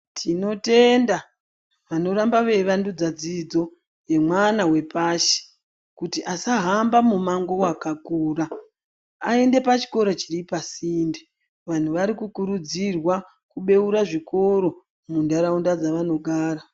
Tinotenda vanoramba veivandudza dzidzo yemwana wepashi kuti asahamba mumango wakakura aende pachikora chiripasinde vanhu varikukurudzirwa kubeura zvikoro muntaraunda dzavanogara .